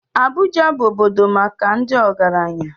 Abuja bụ obodo maka ndị ọgaranya